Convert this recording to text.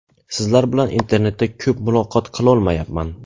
Sizlar bilan internetda ko‘p muloqot qilolmayapman.